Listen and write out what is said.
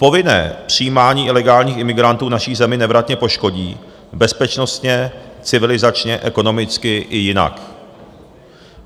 Povinné přijímání ilegálních imigrantů naši zemi nevratně poškodí bezpečnostně, civilizačně, ekonomicky i jinak.